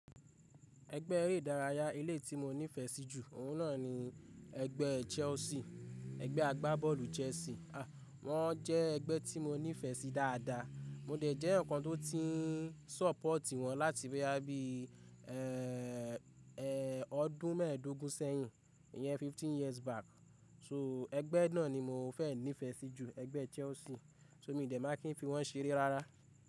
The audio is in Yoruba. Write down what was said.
Ẹgbẹ́ eré ìdárayá ilé tí mo nífẹ̀ẹ́ sí jù, òun náà ni ẹgbẹ́ Chelsea. Ẹgbẹ́ agbábọ́ọ̀lù Chelsea. Wọ́n jẹ́ ẹgbẹ́ tí mo nífẹ̀ẹ́ sí dáadáa. Mo dẹ̀ jẹ́ ǹkan tó ti ń sọ́pọ̀tì wọ́n láti bí i, ẹ, ẹ ọdún mẹ́ẹ̀dógún sẹ́yìn. Ìyẹn fifteen years back. So ẹgbẹ́ náà ni mo fẹ́ nífẹ̀ẹ́ sí jù, ẹgbẹ́ Chelsea. So mo dẹ̀ máa kí n fi wọ́n ṣeré rárá.